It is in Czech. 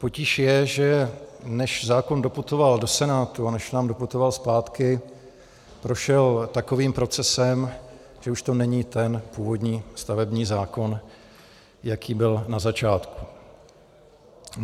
Potíž je, že než zákon doputoval do Senátu a než nám doputoval zpátky, prošel takovým procesem, že už to není ten původní stavební zákon, jaký byl na začátku.